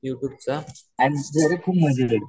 U tube चा